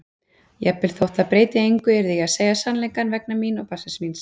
Jafnvel þótt það breytti engu yrði ég að segja sannleikann vegna mín og barnsins míns.